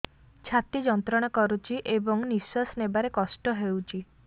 ଛାତି ଯନ୍ତ୍ରଣା କରୁଛି ଏବଂ ନିଶ୍ୱାସ ନେବାରେ କଷ୍ଟ ହେଉଛି